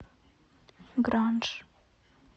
гранж